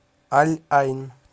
аль айн